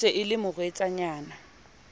e se e le morwetsanyana